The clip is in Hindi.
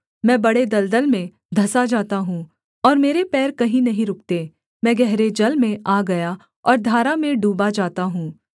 मैं बड़े दलदल में धँसा जाता हूँ और मेरे पैर कहीं नहीं रुकते मैं गहरे जल में आ गया और धारा में डूबा जाता हूँ